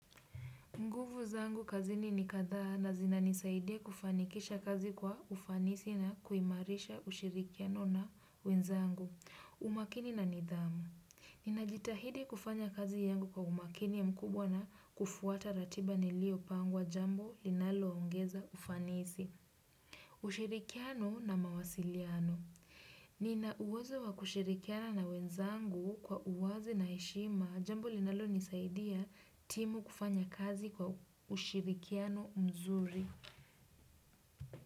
Nguvu zangu kazini ni kadhaa na zinanisaidia kufanikisha kazi kwa ufanisi na kuimarisha ushirikiano na wenzangu. Umakini na nidhamu. Ninajitahidi kufanya kazi yangu kwa umakini mkubwa na kufuata ratiba nilio pangwa jambo linalo ongeza ufanisi. Ushirikiano na mawasiliano. Nina uwezo wa kushirikiana na wenzangu kwa uwazi na heshima. Jambo linalo nisaidia timu kufanya kazi kwa ushirikiano mzuri.